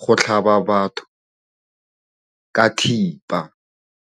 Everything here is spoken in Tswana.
go tlhaba batho ka thipa.